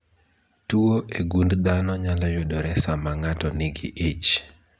Tuo e gund dhano nyalo yudore saa ma ng'ato nigi ich